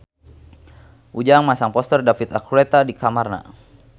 Ujang masang poster David Archuletta di kamarna